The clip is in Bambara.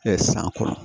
san kɔrɔ